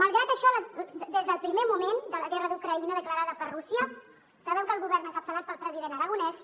malgrat això des del primer moment de la guerra d’ucraïna declarada per rússia sabem que el govern encapçalat pel president aragonès